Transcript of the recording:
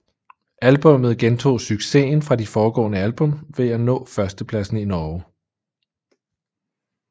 Albummet gentog successen fra de foregående album ved at nå førstepladsen i Norge